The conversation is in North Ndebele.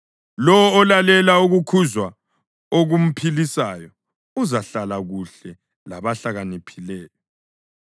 Lowo olalela ukukhuzwa okumphilisayo, uzahlala kuhle labahlakaniphileyo.